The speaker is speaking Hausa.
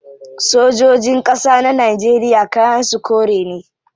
Sojojin kasa na Najeriya kayan su kore ne